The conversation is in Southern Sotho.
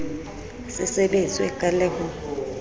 se sebetswe ka le ho